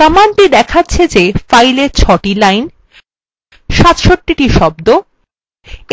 command দেখাচ্ছে the fileএ ৬the lines ৬৭the শব্দ